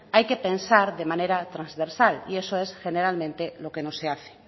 hay que pesar de manera trasversal y eso es generalmente lo que no se hace